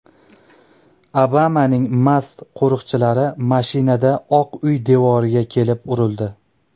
Obamaning mast qo‘riqchilari mashinada Oq uy devoriga kelib urildi.